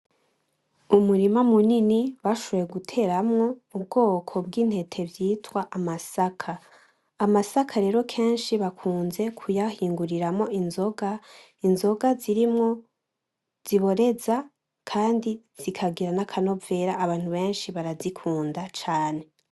Umurima munini bashoboye guteramwo ubwoko bw'intete vyitwa amasaka, amasaka rero kenshi bakunze kuyahinguriramwo inzoga, inzoga zirimwo ziboreza kandi zikagira n'akanovera abantu benshi barazikunda cane.